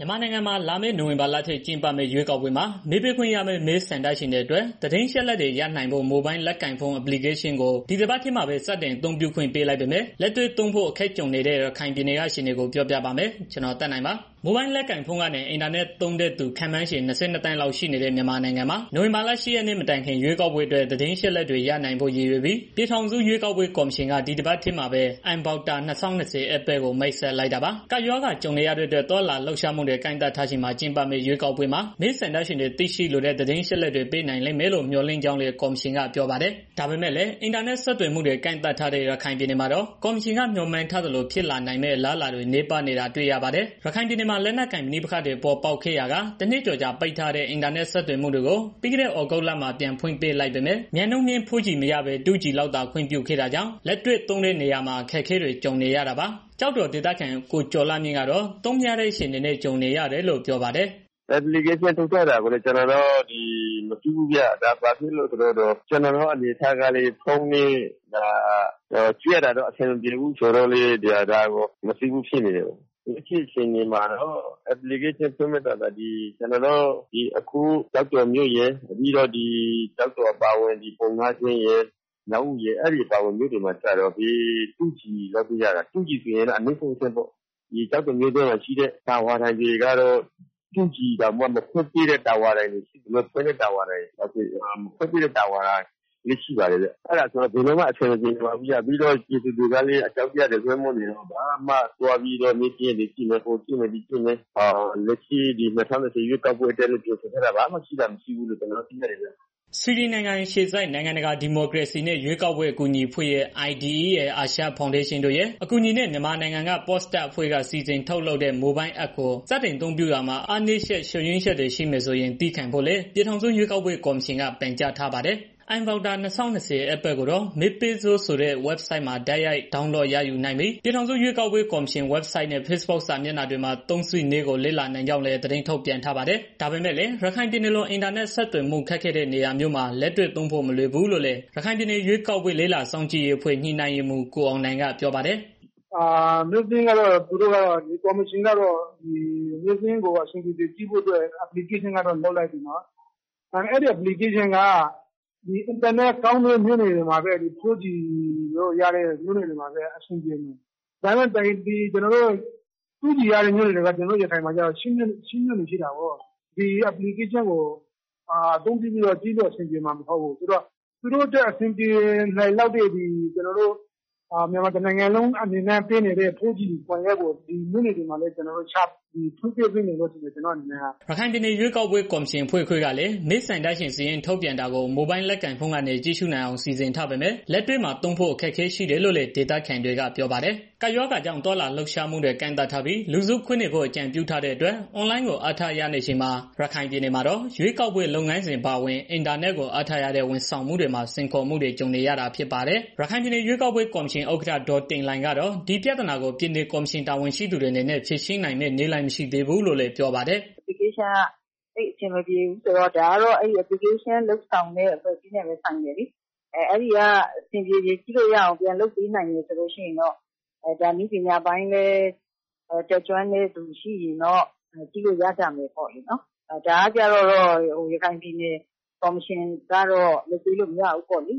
မြန်မာနိုင်ငံမှာ လာမယ့်နိုဝင်ဘာလထဲ ကျင်းပမယ့် ရွေးကောက်ပွဲမှာ မဲပေးခွင့်ရမယ့် မဲဆန္ဒရှင်တွေအတွက် သတင်းအချက်တွေ ရနိုင်ဖို့ မိုဘိုင်းလက်ကိုင်ဖုန်း Application ကို ဒီတပတ်ထဲမှာပဲ စတင်အသုံးပြုခွင့်ပေးလိုက်ပေမဲ့ လက်တွေ့သုံးဖို့ အခက်ကြုံနေရတဲ့ ရခိုင်ပြည်နယ်က အခြေအနေကို ပြောပြပါမယ်။ ဗွီအိုအေမြန်မာပိုင်းသတင်းထောက် ကိုသက်နိုင်က သတင်းပေးပို့ထားပါတယ်။ မိုဘိုင်းလက်ကိုင်ဖုန်းကနေ အင်တာနက် သုံးတဲ့သူ ခန့်မှန်းခြေ ၂၂ သန်းလောက်ရှိတဲ့ မြန်မာနိုင်ငံမှာ နိုဝင်ဘာလ ၈ ရက်နေ့ မတိုင်ခင် ရွေးကောက်ပွဲအတွက် သတင်းအချက်အလက်တွေ ရနိုင်ဖို့ ရည်ရွယ်ပြီး ပြည်ထောင်စု ရွေးကောက်ပွဲ ကော်မရှင်က ဒီတပတ်ထဲမှာပဲ mVoter 2020 App ကို မိတ်ဆက်လိုက်တာပါ။ ကပ်ရောဂါကြုံနေရတဲ့အတွက် သွားလာလှုပ်ရှားမှုတွေ ကန့်သတ်ထားချိန်မှာ ကျင်းပမယ့် ရွေးကောက်ပွဲမှာ မဲဆန္ဒရှင်တွေ သိရှိလိုတဲ့ သတင်းအချက်တွေ ပေးနိုင်လိမ့်မယ်လို့ မျှော်လင့်ကြောင်းလည်း ကော်မရှင်က ပြောပါတယ်။ ဒါပေမဲ့လည်း အင်တာနက် ဆက်သွယ်မှုတွေ ကန့်သတ်ထားတဲ့ ရခိုင်ပြည်နယ်မှာတော့ ကော်မရှင်က မျှော်မှန်းထားသလို ဖြစ်လာနိုင်မယ့် အလားအလာတွေ နည်းပါးနေတာ တွေ့ရပါတယ်။ ရခိုင်ပြည်နယ်မှာ လက်နက်ကိုင်ပဋိပက္ခတွေ ပေါ်ပေါက်ခဲ့ရာက ၁ နှစ်ကျော်ကြာ ပိတ်ထားတဲ့ အင်တာနက် ဆက်သွယ်မှုတွေကို ပြီးခဲ့တဲ့ သြဂုတ်လမှာ ပြန်ဖွင့်ပေးလိုက်ပေမဲ့ မြန်နှုန်းမြင့် 4G မရဘဲ 2G သာ ခွင့်ပြုခဲ့တာကြောင့် လက်တွေ့သုံးတဲ့နေရာမှာ အခက်အခဲတွေ ကြုံနေရတာပါ။ ကျောက်တော်ဒေသခံ ကိုကျော်လှမြင့်ကတော့ သုံးမရတဲ့အခြေအနေနဲ့ ကြုံနေရတယ်လို့ ပြောပါတယ်။ "ကျနော်တို့က အက်ပလီကေးရှင်း ထုတ်ထားတာကိုတောင်မသိဘူးဗျာ။ ဖုန်းနဲ့ ကြည့်ရတာလည်း အဆင်မပြေတော့ မသိဘူး။ အဲတာကို ဖွင့်ကြည့်ဖို့နေနေသာသာ ကျနော်အခု ကျော်တော်မြို့ရယ်၊ ပြီးတော့ မြောက်ဦး၊ ပုဏ္ဏားကျွန်း အဲဒီမြို့တွေမှာ ကျတော့ 2G လောက်ပဲရတာ။ ကျောက်တော်မြို့တွင်းမှာရှိတဲ့ တာဝါတိုင်တွေ ကတော့ 2G တောင်မဖွင့်ပေးတဲ့ တာဝါတိုင်တွေရှိတယ်။ ပြီးတော့ ပြည်သူတွေကလည်း အကြောက်တရားတွေ လွမ်းမိုးနေတော့ ၂၀၂၀ ရွေးကောက်ပွဲအတွက် ဘာမှပြင်ဆင်ထားတာ တွေမရှိကြဘူးခင်ဗျာ။" ဆွီဒင်နိုင်ငံ အခြေစိုက် နိုင်ငံတကာ ဒီမိုကရေစီနဲ့ ရွေးကောက်ပွဲ အကူအညီပေးရေးအဖွဲ့ ၊ အာရှဖောင်ဒေးရှင်းတိုရဲ့ အကူအညီနဲ့ မြန်မာနိုင်ငံက PopStack အဖွဲ့က ဖန်တီးထုတ်လုပ်တဲ့ မိုဘိုင်းအက်ပ်ကို စတင်အသုံးပြုရာမှာ အားနည်းချက် ချို့ယွင်းချက်တွေ ရှိမယ်ဆိုရင် သည်းခံဖို့လည်း ပြည်ထောင်စု ရွေးကောက်ပွဲ ကော်မရှင်က ပန်ကြားထားပါတယ်။ mVoter 2020 App ကိုတော့ မဲပေးစို့ ဆိုတဲ့ ဝဘ်ဆိုဒ်မှာ တိုက်ရိုက် download ရယူနိုင်ပြီး ပြည်ထောင်စု ရွေးကောက်ပွဲကော်မရှင် ဝဘ်ဆိုဒ်နဲ့ ဖေ့စ်ဘွတ်စာမျက်နှာတွေမှာ သုံးစွဲနည်းကို လေ့လာနိုင်ကြောင်းလည်း သတင်းထုတ်ပြန်ထားပါတယ်။ ဒါပေမဲ့လည်း ရခိုင်ပြည်နယ်လို အင်တာနက် ဆက်သွယ်မှု ခက်ခဲတဲ့ နေရာမျိုးမှာ လက်တွေ့သုံးဖို့ မလွယ်ဘူးလို့လည်း ရခိုင်ပြည်နယ် ရွေးကောက်ပွဲလေ့လာစောင့်ကြည့်ရေးအဖွဲ့ ညှိနှိုင်းရေးမှူး ကိုအောင်နိုင်က ပြောပါတယ်။ "ကော်မရှင်ကတော့ မဲစာရင်းကို အဆင်ပြေပြေကြည့်ဖို့အတွက် application ကတော့ လုပ်လိုက်ပြီးနော်။ ဒါပေမယ့် အဲဒီ အပလီကေရှင်းက အင်တာနက်ကောင်းတဲ့ မြို့နယ်တွေမှာပဲ အဆင်ပြေလောက်တယ်။ အင်တာနက် 2G လောက်သာရတဲ့ မြို့နယ်တွေက ရခိုင်မှာ ၈ မြို့နယ်လောက်ရှိတာကို အဲဒီကလူတွေက အဲတာကို ကြည့်ဖို့ အဆင်ပြေမှာမဟုတ်ဘူး ဆိုတော့ သူတို့အတွက်အဆင်ပြေလောက်တဲ့ မြန်မာတစ်နိုင်ငံလုံးအနေနဲ့ ပေးနေတဲ့ 4G အင်တာနက်ကို ဖွင့်ပေးသင့်တယ်လို့ ထင်တယ် ကျနော်အနေနဲ့။" ရခိုင်ပြည်နယ် ရွေးကောက်ပွဲ ကော်မရှင်အဖွဲ့ခွဲကလည်း မဲဆန္ဒရှင်စာရင်း ထုတ်ပြန်ထားတာကို မိုဘိုင်းလက်ကိုင်ဖုန်းကနေ ကြည့်ရှုနိုင်အောင် စီစဉ်ထားပေမဲ့ လက်တွေ့မှာ သုံးဖို့အခက်အခဲ ရှိတယ်လို့လည်း ဒေသခံတွေက ပြောပါတယ်။ ကပ်ရောဂါကြောင့် သွားလာလှုပ်ရှားမှုတွေ ကန့်သတ်ထားပြီး လူစုခွဲနေဖို့ အကြံပြုထားတဲ့အတွက် အွန်လိုင်းကို အားထားနေရချိန်မှာ ရခိုင်ပြည်နယ်မှာတော့ ရွေးကောက်ပွဲ လုပ်ငန်းစဉ် အပါအဝင် အင်တာနက်ကို အားထားရတဲ့ ဝန်ဆောင်မှုတွေမှာ စိန်ခေါ်မှုတွေ ကြုံနေရတာ ဖြစ်ပါတယ်။ ရခိုင်ပြည်နယ်ရွေးကောက်ပွဲ ကော်မရှင် ဥက္ကဋ္ဌ ဒေါ်တင်လှိုင်ကတော့ ဒီပြဿနာကို ပြည်နယ်ကော်မရှင်တာဝန်ရှိသူတွေအနေနဲ့ ဖြေရှင်းနိုင်မယ့် နည်းလမ်း မရှိသေးဘူးလို့ ပြောပါတယ်။ "အက်ပ်လီကေးရှင်းက အဆင်မပြေဘူးဆိုတာကတော့ ဒါကိုလုပ်တဲ့ အဖွဲ့အစည်းနဲ့ပဲ ဆိုင်တယ်လေ အဲဒီက အဆင်ပြေပြေ ကြည့်လို့ရအောင် ပြန်လုပ်ပေးနိုင်တယ်ဆိုရင်တော့ ဒါနည်းပညာပိုင်းလည်း တက်ကျွန်းတဲ့ သူရှိရင်တော့ ကြည်လို့ရကြမယ်ပေါ့နော်။ ဒါကိုတော့ ရခိုင်ပြည်နယ် ကော်မရှင်ကတော့ လုပ်ပေးလို့ မရဘူးပေါ့နော်။